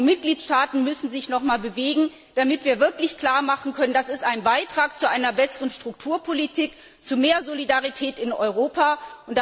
Auch die Mitgliedstaaten müssen sich noch einmal bewegen, damit wir wirklich klarmachen können, dass dies ein Beitrag zu einer besseren Strukturpolitik und zu mehr Solidarität in Europa ist.